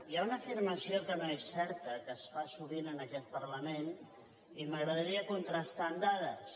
hi ha una afirmació que no és certa que es fa sovint en aquest parlament i m’agradaria contrastar la amb dades